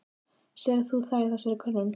Sérð þú það í þessari könnun?